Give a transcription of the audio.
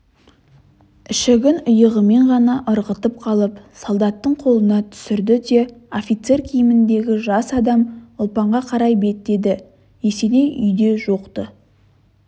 ішігін иығымен ғана ырғытып қалып солдаттың қолына түсірді де офицер киіміндегі жас адам ұлпанға қарай беттеді есеней үйде жоқ-ты